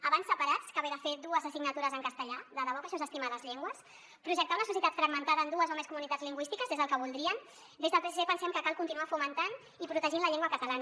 abans separats que haver de fer dues assignatures en castellà de debò que això és estimar les llengües projectar una societat fragmentada en dues o més comunitats lingüístiques és el que voldrien des del psc pensem que cal continuar fomentant i protegint la llengua catalana